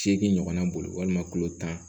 Seegin ɲɔgɔnna bolo walima kulo tan